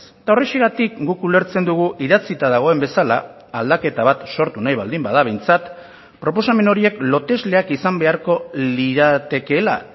eta horrexegatik guk ulertzen dugu idatzita dagoen bezala aldaketa bat sortu nahi baldin bada behintzat proposamen horiek lotesleak izan beharko liratekeela